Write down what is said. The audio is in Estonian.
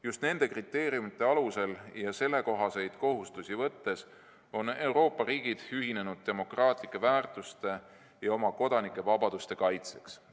Just nende kriteeriumide alusel ja sellekohaseid kohustusi võttes on Euroopa riigid ühinenud demokraatlike väärtuste ja oma kodanike vabaduste kaitseks.